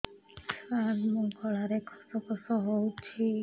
ସାର ମୋ ଗଳାରେ ଖସ ଖସ ହଉଚି